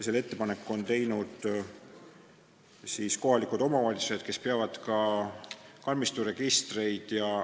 Selle ettepaneku on teinud kohalikud omavalitsused, kes peavad ka kalmisturegistreid.